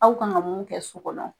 Aw kan ka mun kɛ so kɔnɔ